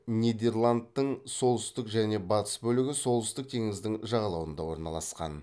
нидерландтың солтүстік және батыс бөлігі солтүстік теңіздің жағалауында орналасқан